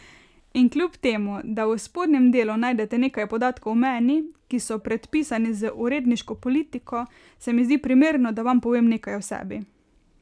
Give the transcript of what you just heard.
In kljub temu, da v spodnjem delu najdete nekaj podatkov o meni, ki so predpisani z uredniško politiko, se mi zdi primerno, da vam povem nekaj o sebi.